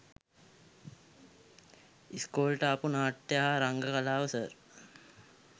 ඉස්කෝලෙට ආපු නාට්‍ය හා රංග කලාව සර්